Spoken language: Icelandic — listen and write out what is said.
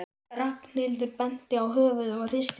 Ragnhildur benti á höfuðið og hristi það.